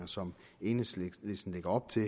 som enhedslisten lægger op til